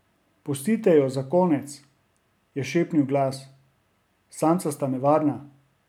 Pustite jo za konec, je šepnil glas, samca sta nevarna.